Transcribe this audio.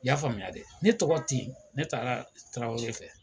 I y'a faamuya dɛ ne tɔgɔ ten yen ne taara Tarawele fɛ